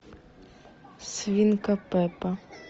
свинка пеппа